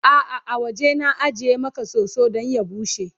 a'a a waje na ajiye Maka soso Dan ya bushe